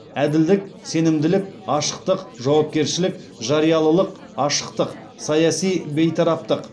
әділдік сенімділік ашықтық жауапкершілік жариялылық ашықтық саяси бейтараптық